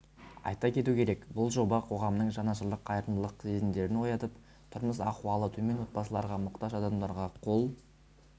айта кету керек бұл жоба қоғамның жанашырлық қайырымдылық сезімдерін оятып тұрмыс-ахуалы төмен отбасыларға мұқтаж адамдарға қол